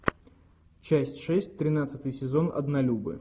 часть шесть тринадцатый сезон однолюбы